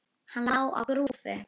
Hann lá á grúfu.